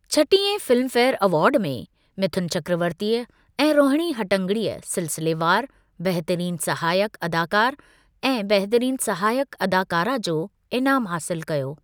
छटीहें फिल्मफेयरु अवार्ड में मिथुन चक्रवर्तीअ ऐं रोहिणी हट्टंगडीअ सिलिसिलेवारु; बहितरीन सहायकु अदाकारु ऐं बहितरीन सहायकु अदाकारा जो इनामु हासिल कयो।